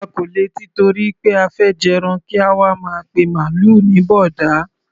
A kò lè tìtorí pé a fẹ́ jẹran kí a wá máa pe màlúù ní bọ̀ọ̀dá.